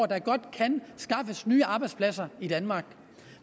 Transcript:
der godt kan skaffes nye arbejdspladser i danmark